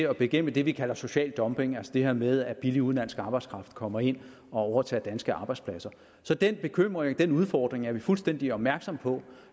at bekæmpe det vi kalder social dumping altså det her med at billig udenlandsk arbejdskraft kommer ind og overtager danske arbejdspladser så den bekymring den udfordring er vi fuldstændig opmærksomme på